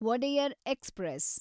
Wodeyar express